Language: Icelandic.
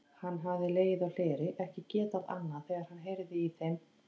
Hann hafði legið á hleri, ekki getað annað þegar hann heyrði í þeim.